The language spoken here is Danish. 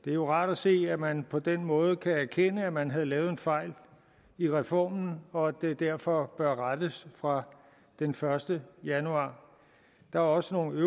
det er jo rart at se at man på den måde erkender at man havde lavet en fejl i reformen og at det derfor bør rettes fra den første januar der er også nogle